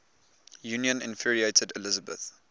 union infuriated elizabeth